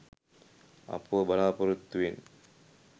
අපව බලාපොරොත්තුවෙන්